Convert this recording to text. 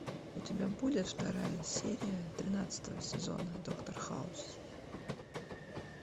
у тебя будет вторая серия тринадцатого сезона доктор хаус